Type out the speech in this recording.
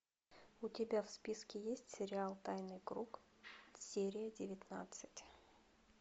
у тебя в списке есть сериал тайный круг серия девятнадцать